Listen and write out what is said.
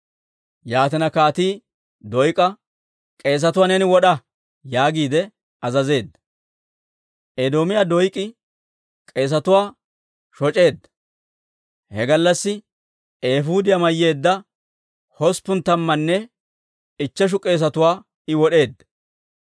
Yaatina kaatii Doyk'a, «K'eesetuwaa neeni wod'a» yaagiide azazeedda. Edoomiyaa Doyk'i k'eesetuwaa shoc'eedda; he gallassi eefuudiyaa mayyeedda hosppun tammanne ichcheshu k'eesetuwaa I wod'eedda.